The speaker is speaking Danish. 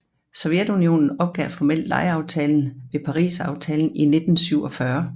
Sovjetunionen opgav formelt lejeaftalen ved Pariserfredsaftalen i 1947